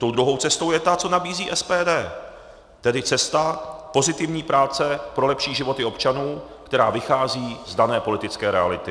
Tou druhou cestou je ta, co nabízí SPD, tedy cesta pozitivní práce pro lepší životy občanů, která vychází z dané politické reality.